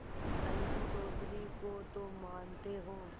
अलगू चौधरी को तो मानते हो